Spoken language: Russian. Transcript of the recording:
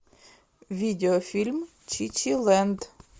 видеофильм чичилэнд